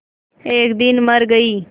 एक दिन मर गई